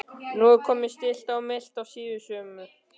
Nú er komið stillt og milt síðsumar.